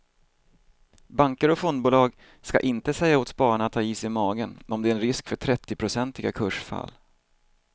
Banker och fondbolag ska inte säga åt spararna att ha is i magen om det är en risk för trettionprocentiga kursfall.